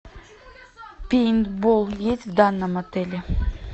пейнтбол есть в данном отеле